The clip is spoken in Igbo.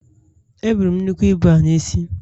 Eburu m nnukwu ibu ahụ n’isi